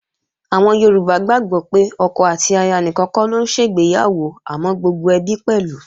Àwọn Yorùbá gbàgbó pé ọkọ àti aya nìkan kọ́ ló ń ṣègbéyàwó àmọ́ gbogbo ẹbí pẹ̀lú